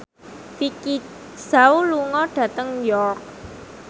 Vicki Zao lunga dhateng York